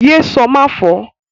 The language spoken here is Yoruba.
Ye sọ máfọ̀ọ́!